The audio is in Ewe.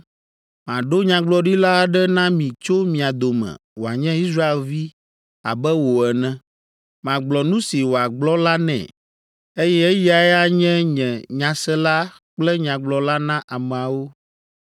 Maɖo nyagblɔɖila aɖe na mi tso mia dome wòanye Israelvi abe wò ene. Magblɔ nu si wòagblɔ la nɛ, eye eyae anye nye nyasela kple nyagblɔla na ameawo.